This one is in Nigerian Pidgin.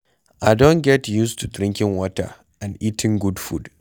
I don get used to drinking water and eating good food.